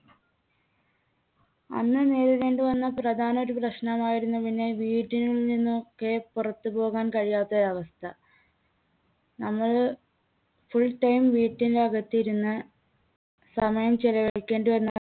അന്ന് നേരിടേണ്ടി വന്ന പ്രധാന ഒരു പ്രശ്നമായിരുന്നു പിന്നെ വീട്ടിൽനിന്ന് ഒക്കെ പുറത്തുപോകാൻ കഴിയാത്ത ഒരവസ്ഥ. നമ്മൾ full time വീട്ടിനകത്തിരുന്ന് സമയം ചിലവഴിക്കേണ്ടി വന്ന